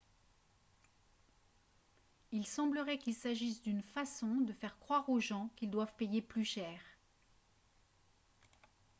il semblerait qu'il s'agisse d'une façon de faire croire aux gens qu'ils doivent payer plus cher